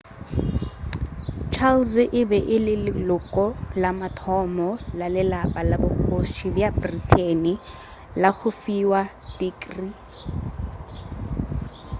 charles e be e le leloko la mathomo la lelapa la bokgoši bja britain la go fiwa tikrii